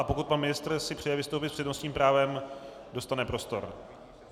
A pokud pan ministr si přeje vystoupit s přednostním právem, dostane prostor.